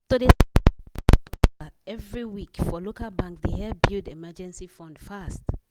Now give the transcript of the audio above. to dey every week for local bank dey help build emergency fund fast